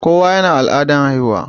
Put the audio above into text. Kowa yana da al'adan haihuwa.